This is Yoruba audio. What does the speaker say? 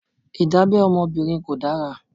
Ìdábẹ́ ọmọbìnrin kò dára.